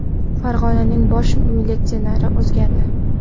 Farg‘onaning bosh militsioneri o‘zgardi.